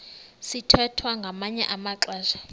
sithwethwa ngamanye amaxesha